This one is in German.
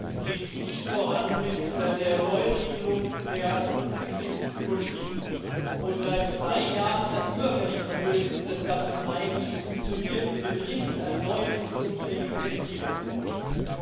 Es geht nicht voran mit der Neuregelung der Asyl und Flüchtlingspolitik, obwohl das seit drei Jahren überfällig ist, obwohl wir wissen, dass Dublin III nicht funktioniert und wir dringend eine neue, funktionsfähige Gesetzgebung bräuchten.